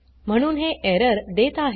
म्हणून हे एरर देत आहे